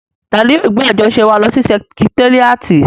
Tani yóò gbé àjọṣe wa lọ sí sẹkitéríàtì?